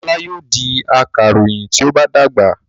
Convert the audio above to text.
Ọlá yóò di akaròyìn tí ó bá dàgbà.